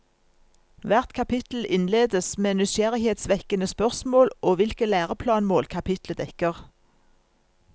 Hvert kapittel innledes med nysgjerrighetsvekkende spørsmål og hvilke læreplanmål kapitlet dekker.